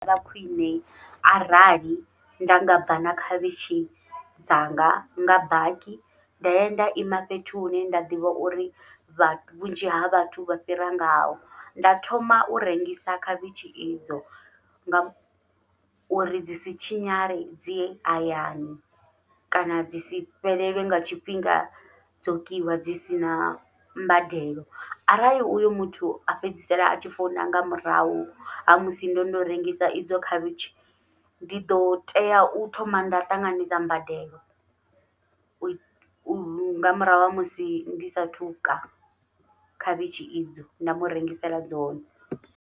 Vha khwiṋe arali nda nga bva na khavhishi dzanga nga baki, nda ya nda ima fhethu hune nda ḓivha uri vhunzhi ha vhathu vha fhira ngao nda thoma u rengisa khavhishi idzo nga uri dzi si tshinyale dzi hayani kana dzi si fhelelwe nga tshifhinga dzo kiwa dzi sina mbadelo. Arali uyo muthu a fhedzisela atshi founa nga murahu ha musi ndono rengisa idzo khavhishi ndi ḓo tea u thoma nda ṱanganisa mbadelo, u nga murahu ha musi ndi sathu ka khavhishi idzo nda murengisela dzone.